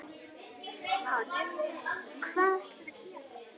Páll: Hvað ætlarðu að gera?